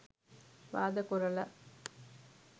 වාද කොරල.